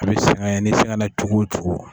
A bi sɛgɛn ye ni sɛgɛnna cogo o cogo.